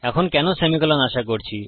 এখন কেন সেমিকোলন আশা করছি